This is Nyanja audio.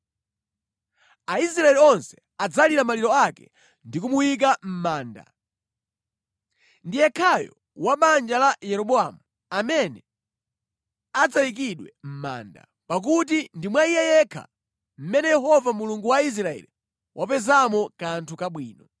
Aisraeli onse adzalira maliro ake ndi kumuyika mʼmanda. Ndi yekhayo wa banja la Yeroboamu amene adzayikidwe mʼmanda, pakuti ndi mwa iye yekha mmene Yehova Mulungu wa Israeli wapezamo kanthu kabwino.